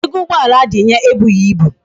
Mba, ego ugboala adinye ebughi ibu